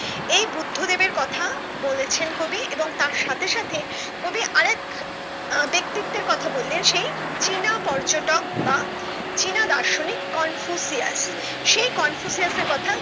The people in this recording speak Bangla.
এই বুদ্ধ দেবের কথা বলেছেন কবি এবং তার সাথে সাথে কবি আরেক ব্যাক্তিত্বের কথা বললেনসেই চীন পর্যটক বা চীন দার্শনিক কনফুসিয়াস সেই কনফুসিয়াস এর কথা